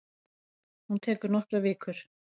Hún tekur nokkrar vikur.